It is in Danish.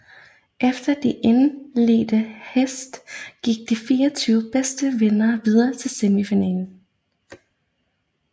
Efter de indledende heats gik de 24 bedste videre til tre semifinaler